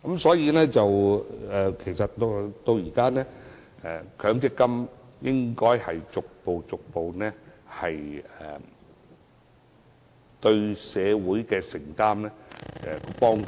所以，現在強積金應該逐步增加對社會的承擔和幫助。